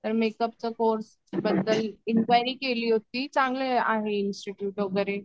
तर मेकअपचं कोर्स बद्दल इन्क्वायरी केली होती चांगलं आहे इन्स्टिट्यूट वगैरे.